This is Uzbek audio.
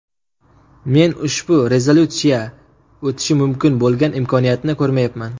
Men ushbu rezolyutsiya o‘tishi mumkin bo‘lgan imkoniyatni ko‘rmayapman”.